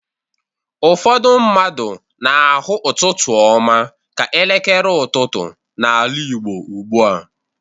Ụfọdụ mmadụ na-ahụ ụtụtụ ọma ka ekele ụtụtụ n'ala Igbo ugbu a.